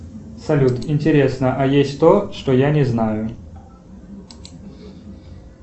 салют интересно а есть то что я не знаю